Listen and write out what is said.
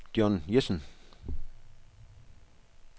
John Jessen